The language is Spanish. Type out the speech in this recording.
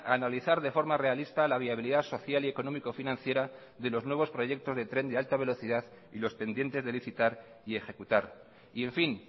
analizar de forma realista la viabilidad social y económico financiera de los nuevos proyectos de tren de alta velocidad y los pendientes de licitar y ejecutar y en fin